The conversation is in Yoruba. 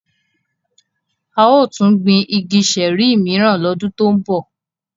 A yóò tun gbin igi ṣẹẹri miran lọdun to nbọ.